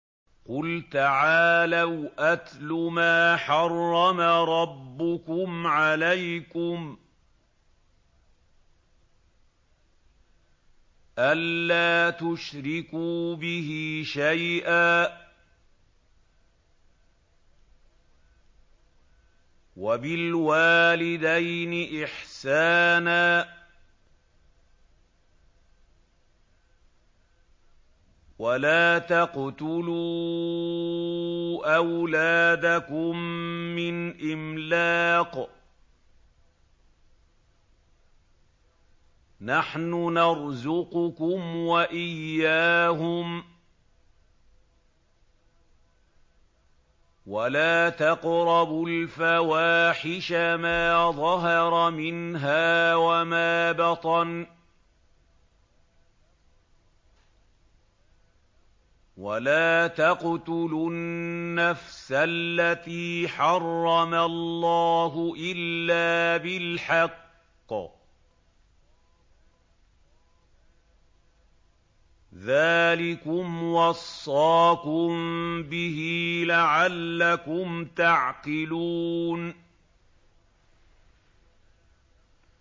۞ قُلْ تَعَالَوْا أَتْلُ مَا حَرَّمَ رَبُّكُمْ عَلَيْكُمْ ۖ أَلَّا تُشْرِكُوا بِهِ شَيْئًا ۖ وَبِالْوَالِدَيْنِ إِحْسَانًا ۖ وَلَا تَقْتُلُوا أَوْلَادَكُم مِّنْ إِمْلَاقٍ ۖ نَّحْنُ نَرْزُقُكُمْ وَإِيَّاهُمْ ۖ وَلَا تَقْرَبُوا الْفَوَاحِشَ مَا ظَهَرَ مِنْهَا وَمَا بَطَنَ ۖ وَلَا تَقْتُلُوا النَّفْسَ الَّتِي حَرَّمَ اللَّهُ إِلَّا بِالْحَقِّ ۚ ذَٰلِكُمْ وَصَّاكُم بِهِ لَعَلَّكُمْ تَعْقِلُونَ